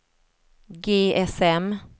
GSM